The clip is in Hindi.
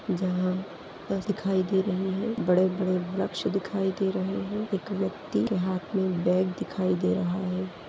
जहाँ बस दिखाई दे रही है बड़े -बड़े वृक्ष दिखाई दे रहे है एक व्यक्ति के हाथ मे बैग दिखाई दे रहा है।